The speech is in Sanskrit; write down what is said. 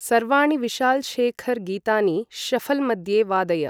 सर्वाणि विशाल् शेखर् गीतानि शऴल् मध्ये वादय